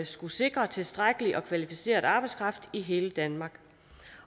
skulle sikre tilstrækkelig og kvalificeret arbejdskraft i hele danmark